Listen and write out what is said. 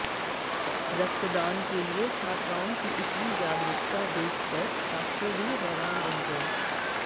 रक्तदान के लिए छात्राओं की इतनी जागरुकता देखकर डाक्टर भी हैरान रह गए